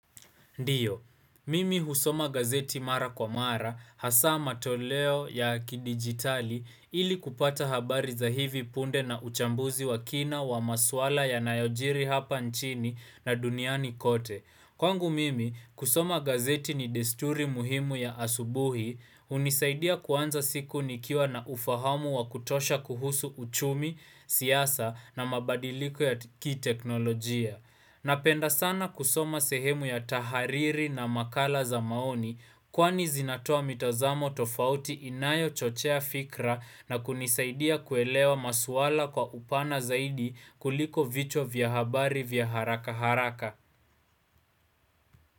Ndiyo, mimi husoma gazeti mara kwa mara, hasa matoleo ya kidigitali ili kupata habari za hivi punde na uchambuzi wa kina wa masuala ya nayojiri hapa nchini na duniani kote. Kwangu mimi, kusoma gazeti ni desturi muhimu ya asubuhi, unisaidia kuanza siku nikiwa na ufahamu wa kutosha kuhusu uchumi, siasa na mabadiliko ya ki teknolojia. Napenda sana kusoma sehemu ya tahariri na makala za maoni kwani zinatoa mitazamo tofauti inayo chochea fikra na kunisaidia kuelewa maswala kwa upana zaidi kuliko vichwa vya habari vya haraka haraka.